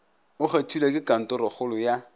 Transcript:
o kgethilwe ke kantorokgolo ya